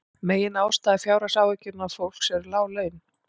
Meginástæða fjárhagsáhyggna fólks eru lág laun